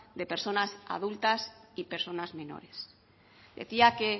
de personas adultas y personas menores decía que